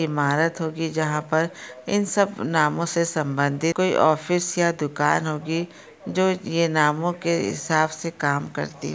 इमारत होगी जहा पर इन सब नामों से संबंदीत कोई ऑफिस या दुकान होगी। जो ये नामों के हिसाब से काम करती--